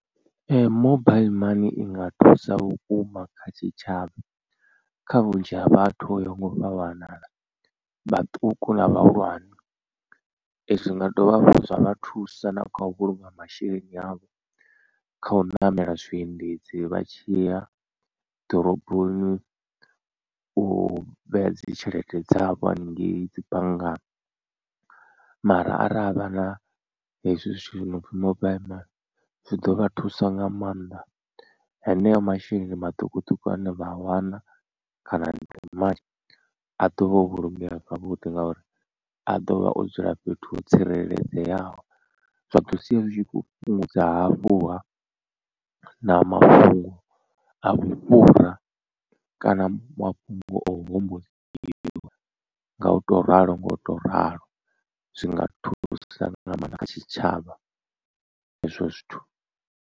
Ee mobile money i nga thusa vhukuma kha tshitshavha kha vhunzhi ha vhathu vho yaho nga u fhambanana vhaṱuku na vhahulwane zwi nga dovha hafhu zwa vha thusa na kha u vhulunga masheleni avho. Kha u ṋamela zwiendedzi vha tshi ya ḓoroboni u vhea dzi tshelede dzavho haningei dzi banngani mara ara havha na hezwi zwithu zwi no pfi mobile money zwi ḓo vha thusa nga maanḓa. Haneyo masheleni maṱukuṱuku ane vha a wana kana a ḓovha o vhulungeya zwavhuḓi ngauri a ḓovha o dzula fhethu ho tsireledzeaho, zwa ḓo sia zwi khou fhungudza hafhuha na mafhungo a vhufhura kana mafhungo o hombokiwa nga u to ralo nga u to ralo zwinga thusa nga maanḓa kha tshitshavha hezwo zwithu.